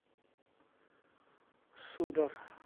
сударь